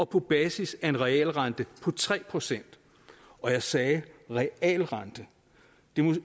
på basis af en realrente på tre procent og jeg sagde realrente hvilket